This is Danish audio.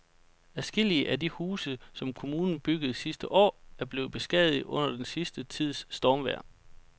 Adskillige af de huse, som kommunen byggede sidste år, er blevet beskadiget under den sidste tids stormvejr.